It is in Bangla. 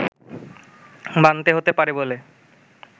মানতে হতে পারে বলে